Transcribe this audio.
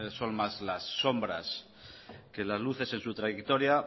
son más las sombras que las luces en su trayectoria